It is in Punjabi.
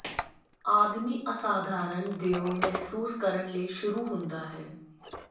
ਆਦਮੀ ਅਸਾਧਾਰਨ ਦਿਓ ਮਹਿਸੂਸ ਕਰਨ ਲਈ ਸ਼ੁਰੂ ਹੁੰਦਾ ਹੈ